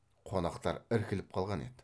қонақтар іркіліп қалған еді